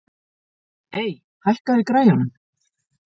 Ey, hækkaðu í græjunum.